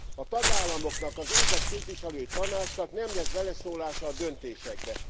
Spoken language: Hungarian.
A tagállamoknak, az őket képviselő Tanácsnak nem lesz beleszólása a döntésekbe.